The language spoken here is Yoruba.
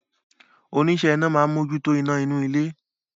Oníṣẹ́ iná máa ń mójútó iná inú ilé